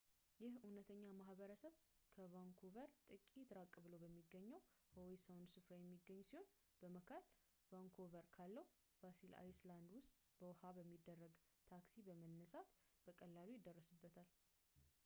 ይህ እውነተኛ ማህበረሰብ ከቫንኩቨር ጥቂት ራቅ ብሎ በሚገኘው howe sound ስፍራ የሚገኝ ሲሆን በመሐል vancouver ካለው granville island በውሃ ላይ በሚደረግ ታክሲ በመነሳት በቀላሉ ይደረስበታል